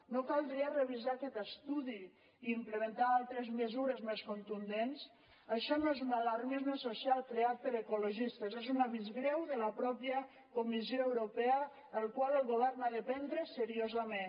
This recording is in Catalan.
no caldria revisar aquest estudi i implementar altres mesures més contundents això no és un alarmisme social creat per ecologistes és un avís greu de la mateixa comissió europea el qual el govern ha de prendre seriosament